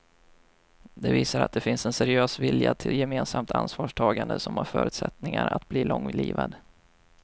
Det visar att det finns en seriös vilja till gemensamt ansvarstagande som har förutsättningar att bli långlivad.